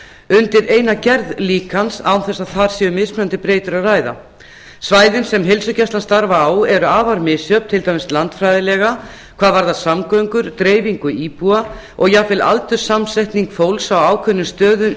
undir eina gerð líkans án þess að þar sé um mismunandi breytur að ræða svæðin sem heilsugæslan starfar á eru afar misjöfn til dæmis landfræðilega hvað varðar samgöngur dreifingu íbúa og jafnvel aldurssamsetning fólks á ákveðnum stöðum